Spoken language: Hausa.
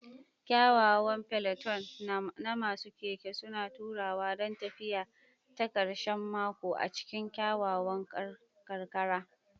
Kyawawan peloton na masu keke suna taruwa don tafiya ta karshen mako a cikin kyakkyawan karkara.